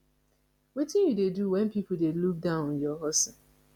wetin you dey do when people dey look down on your hustle